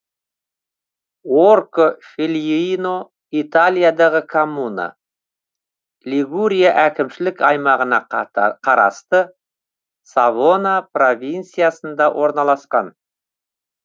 орко фельеино италиядағы коммуна лигурия әкімшілік аймағына қарасты савона провинциясында орналасқан